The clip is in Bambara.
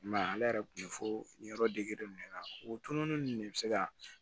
I m'a ye ale yɛrɛ kun bɛ fɔ nin yɔrɔ dege nin de la o tununi ninnu de bɛ se ka